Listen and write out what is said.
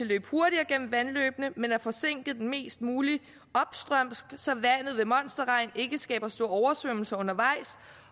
løbe hurtigere gennem vandløbene men at forsinke det mest muligt opstrømsk så vandet ved monsterregn ikke skaber store oversvømmelser undervejs